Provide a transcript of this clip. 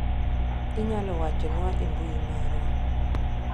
Inyalo wachonwa e mbui marwa.